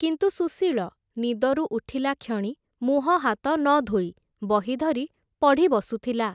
କିନ୍ତୁ ସୁଶୀଳ, ନିଦରୁ ଉଠିଲାକ୍ଷଣି, ମୁହଁହାତ ନଧୋଇ, ବହି ଧରି ପଢ଼ି ବସୁଥିଲା ।